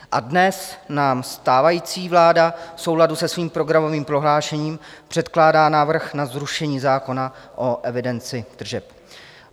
A dnes nám stávající vláda v souladu se svým programovým prohlášením předkládá návrh na zrušení zákona o evidenci tržeb.